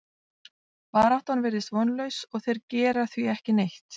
Baráttan virðist vonlaus og þeir gera því ekki neitt.